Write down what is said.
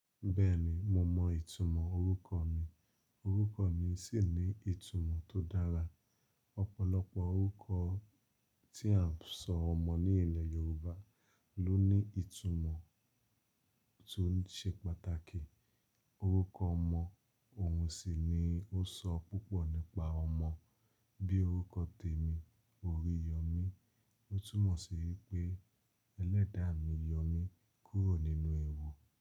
Bẹ́ẹ̀ni mo mọ ìtumọ̀ orúkọ mi, orúkọ mi sì ní ìtumọ̀ tó dára. Ọ̀pọ̀lọpọ̀ orúkọ tí a ń sọ ọmọ ní ilẹ̀ Yorùbá ló ní ìtumọ̀ tó ṣe pàtàkì. Orúkọ ọmọ òun sì ni ó sọ púpọ̀ nípa ọmọ. Bí orúkọ tèmi, Oríyọ̀mí. Ó túmọ̀ sí wí pé ẹlẹ́dàá mi yọ̀ mí kúrò nínú ewu.